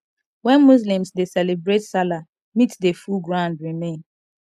when muslims dey celebrate salah meat dey full ground remain